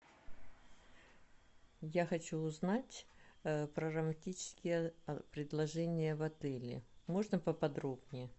я хочу узнать про романтические предложения в отеле можно поподробнее